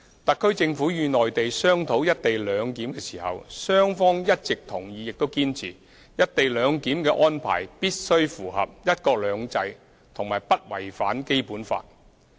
特區政府與內地商討"一地兩檢"時，雙方一直同意亦堅持，"一地兩檢"的安排必須符合"一國兩制"和不違反《基本法》。